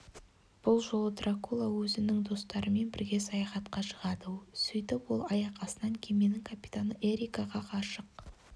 бұл жолы дракула өзімің достарымен бірге саяхатқа шығады сөйтіп ол аяқ астынан кеменің капитаны эрикаға ғашық